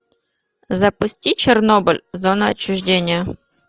запусти чернобыль зона отчуждения